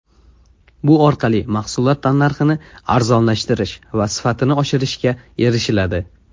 Bu orqali mahsulot tannarxini arzonlashtirish va sifatini oshirishga erishiladi.